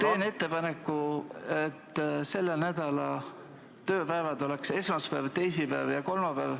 Teen ettepaneku, et selle nädala tööpäevad oleksid esmaspäev, teisipäev ja kolmapäev.